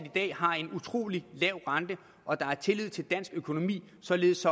har en utrolig lav rente og at der er tillid til dansk økonomi således